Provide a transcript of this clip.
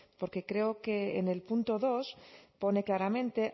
porque creo que en el punto dos pone claramente